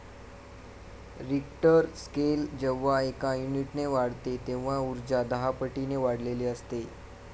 Richter scale जेव्हा एका युनिटने वाढते तेव्हा उर्जा दहापटीने वाढलेली असते.